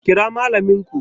Kira Mallamin ku!